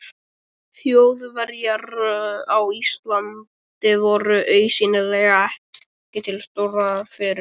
Þjóðverjar á Íslandi voru augsýnilega ekki til stórræða fyrir